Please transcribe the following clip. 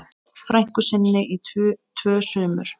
frænku sinni í tvö sumur.